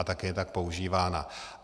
A také je tak používána.